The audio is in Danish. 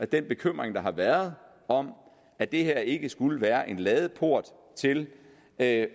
den bekymring der har været om at det her ikke skulle være en ladeport til at